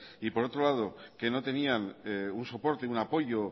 y por otro lado que no tenían un soporte un apoyo